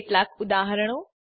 કેટલાક ઉદાહરણો